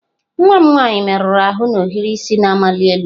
Nwa m nwanyị merụrụ ahụ na ohiri isi na-amali elu.